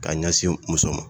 K'a ɲɛsin muso ma